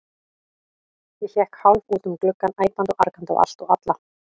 Ég hékk hálf út um gluggann, æpandi og argandi á allt og alla.